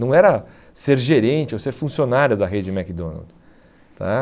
Não era ser gerente ou ser funcionário da rede McDonald's. Eh